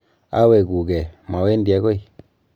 Awekugee , mawendi akoi.